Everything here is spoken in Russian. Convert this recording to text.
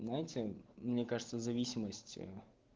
понимаете мне кажется зависимость э